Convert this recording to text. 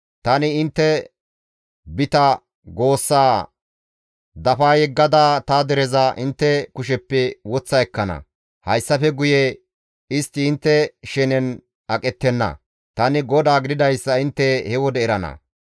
Tani intte bita goossaa dafa yeggada ta dereza intte kusheppe woththa ekkana; hayssafe guye istti intte shenen aqettenna; tani GODAA gididayssa intte he wode erana.